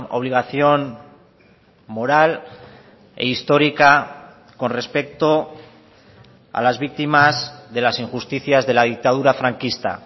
obligación moral e histórica con respecto a las víctimas de las injusticias de la dictadura franquista